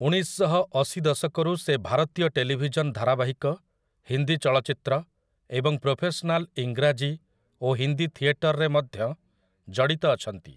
ଉଣେଇଶଶହଅଶି ଦଶକରୁ ସେ ଭାରତୀୟ ଟେଲିଭିଜନ୍ ଧାରାବାହିକ, ହିନ୍ଦୀ ଚଳଚ୍ଚିତ୍ର ଏବଂ ପ୍ରୋଫେସନାଲ୍ ଇଂରାଜୀ ଓ ହିନ୍ଦୀ ଥିଏଟରରେ ମଧ୍ୟ ଜଡିତ ଅଛନ୍ତି ।